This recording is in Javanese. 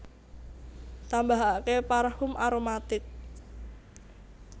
Tambahake parfum aromatic